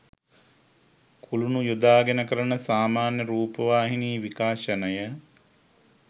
කුළුණු යොදාගෙන කරන සාමාන්‍ය රූපවාහිනී විකාශනය